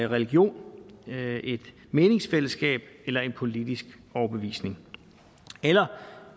religion et meningsfællesskab eller en politisk overbevisning eller